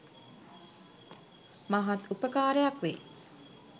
මහත් උපකාරයක් වෙයි.